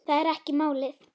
Það er ekki málið.